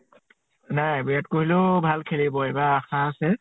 নাই বিৰাত কহলিও ভাল খেলিব এইবাৰ আশা আছে।